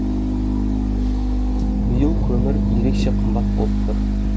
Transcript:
биыл көмір ерекше қымбат болып тұр